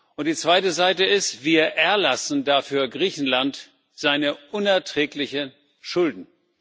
Und die zweite Seite ist Wir erlassen dafür Griechenland seine unerträglichen Schulden.